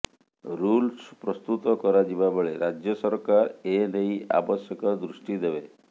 rules ପ୍ରସ୍ତୁତ କରାଯିବା ବେଳେ ରାଜ୍ୟ ସରକାର ଏ େନଇ ଆବଶ୍ୟକ ଦୃଷ୍ଟି ଦେବେ